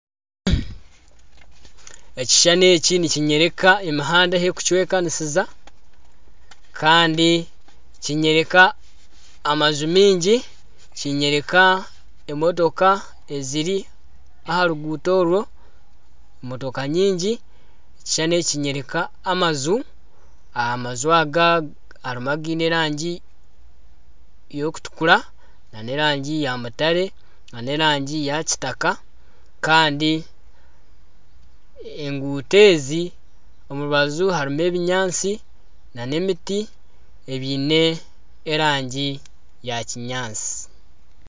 Ekishushani eki nikinyoreka emihanda ahu ekucwekanisiza Kandi Kinyoreka amaju mingi Kinyoreka emotoka eziri aha ruguuto orwo emotoka nyingi . Ekishushani eki Kinyoreka amaju, amaju aga harimu againe erangi y'okutukura n'erangi ya mutare , n'erangi ya kitaka Kandi enguuto ezi omu rubaju harimu ebinyaantsi na emiti ebyine erangi ya kinyaantsi.